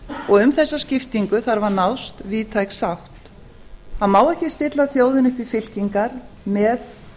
og um þessa skiptingu þarf að nást víðtæk sátt það má ekki stilla þjóðinni upp í fylkingar með